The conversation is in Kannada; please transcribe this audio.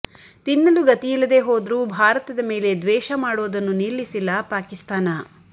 ತಿನ್ನಲು ಗತಿಯಿಲ್ಲದೇ ಹೋದ್ರೂ ಭಾರತದ ಮೇಲೆ ದ್ವೇಷ ಮಾಡೋದನ್ನು ನಿಲ್ಲಿಸಿಲ್ಲ ಪಾಕಿಸ್ತಾನ